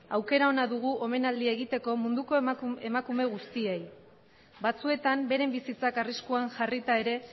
aukera ona dugu omenaldia egiteko munduko emakume guztiei batzuetan bere bizitza arriskuan jarrita ere